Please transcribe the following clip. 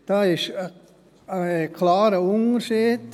Da gibt es einen klaren Unterschied.